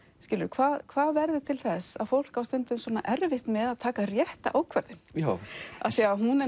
hvað hvað verður til þess að fólk á stundum svona erfitt með að taka rétta ákvörðun af því hún er